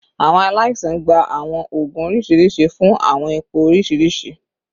Awọn alaisan gba awọn oogun oriṣiriṣi fun awọn ipo oriṣiriṣi